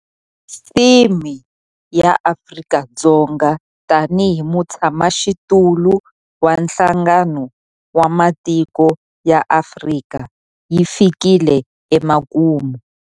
Theme ya Afrika-Dzonga tanihi mutshamaxitulu wa Nhlangano wa Matiko ya Afrika yi fikile emakumu.